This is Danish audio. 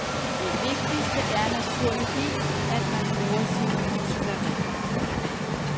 Det vigtigste er naturligvis, at man bruger sine muskler rigtigt.